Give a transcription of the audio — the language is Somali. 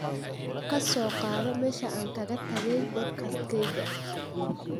ka soo qaado meesha aan kaga tagay podcast-kayga